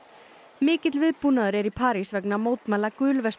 mikill viðbúnaður er í París vegna mótmæla